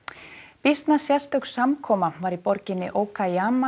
býsna sérstök samkoma var í borginni